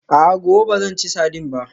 A'a, gobe ba zan ci sardine ba